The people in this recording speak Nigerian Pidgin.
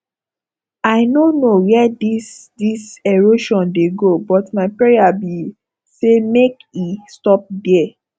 i no know where dis dis erosion dey go but my prayer be say make e stop there